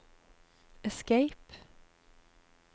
escape